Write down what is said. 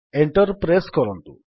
enter press କରନ୍ତୁ